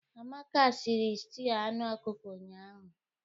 Amaka siri stuụ anụ ọkụkọ ụnyahụ.